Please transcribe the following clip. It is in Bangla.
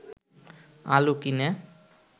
আলু কিনে